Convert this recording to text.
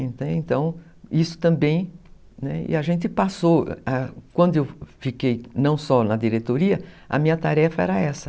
Então, isso também... E a gente passou... Quando eu fiquei não só na diretoria, a minha tarefa era essa.